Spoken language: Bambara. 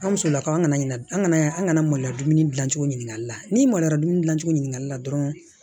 An musolakaw kana ɲinɛ an kana an kana maloya dumuni gilan cogo ɲininkali la n'i maloya dumuni dilancogo ɲinili la dɔrɔn